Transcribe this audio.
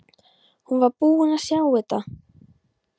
Hún var búin að sjá þetta!